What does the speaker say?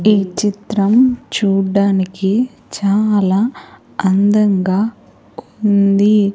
ఈ చిత్రం చూడ్డానికి చాలా అందంగా ఉంది.